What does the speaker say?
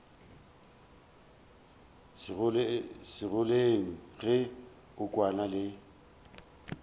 segoleng ge a kwana le